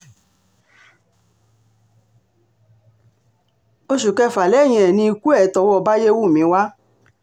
oṣù kẹfà lẹ́yìn ẹ̀ ni ikú ẹ̀ tọwọ́ báyẹ́wúmi wá